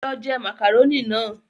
Lọ je màkàrónì náà!